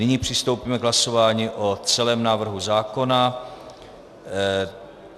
Nyní přistoupíme k hlasování o celém návrhu zákona.